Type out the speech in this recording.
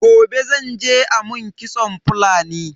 Gobe zan je a mun kitson Fulani.